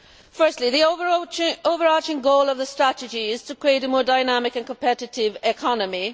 Firstly, the overarching goal of the strategy is to create a more dynamic and competitive economy.